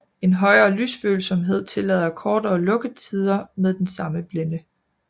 En højere lysfølsomhed tillader kortere lukkertider med den samme blænde